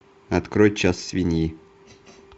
открой час свиньи